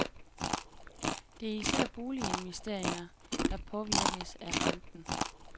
Det er især boliginvesteringer, der påvirkes af renten.